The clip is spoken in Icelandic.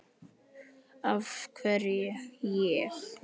Af hverju ég?